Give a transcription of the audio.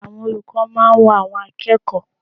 Àwọn olùkọ́ máa ń wo àwọn akẹ́kọ̀ọ́.